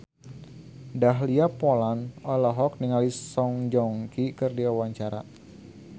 Dahlia Poland olohok ningali Song Joong Ki keur diwawancara